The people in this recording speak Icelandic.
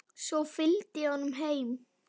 Svo fylgdi ég honum heim.